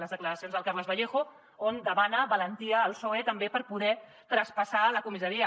les declaracions del carles vallejo on demana valentia al psoe també per poder traspassar la comissaria